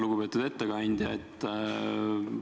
Lugupeetud ettekandja!